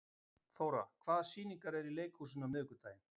Þóra, hvaða sýningar eru í leikhúsinu á miðvikudaginn?